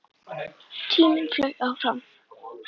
SKÚLI: Ég býð ekki neitt.